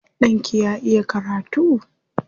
Ɗanki ya iya karatu?